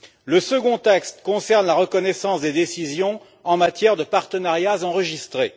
Le second texte concerne la reconnaissance des décisions en matière de partenariats enregistrés.